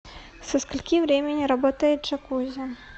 со скольки времени работает джакузи